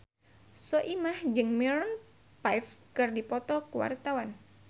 Soimah jeung Maroon 5 keur dipoto ku wartawan